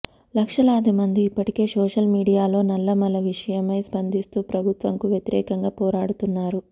లక్షలాది మంది ఇప్పటికే సోషల్ మీడియాలో నల్లమల విషయమై స్పందిస్తూ ప్రభుత్వంకు వ్యతిరేకంగా పోరాడుతున్నారు